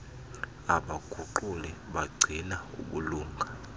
abaguquli bagcina ubulunga